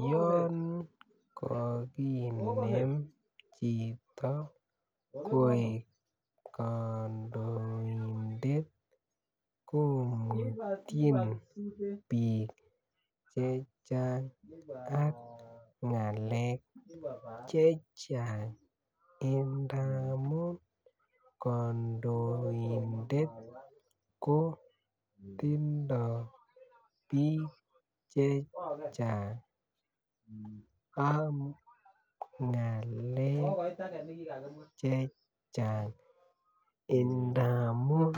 Yoon ka kinem chito koek kandoindet komutyin bik chechang ak ng'alek chechang ingamuun kandoindet ko tindoo bik chechang ak ng'alek chechang endamun